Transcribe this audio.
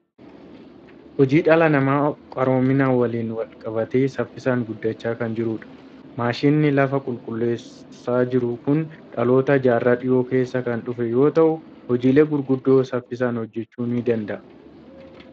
Hojiin dhala namaa qaroomina waliin wal qabatee saffisaan guddachaa kan jirudha. Maashiniin lafa qulleessaa jiru kun dhaloota jaarraa dhiyoo keessa kan dhufe yoo ta'u, hojiilee gurguddaa saffisaan hojjechuu ni danda'a.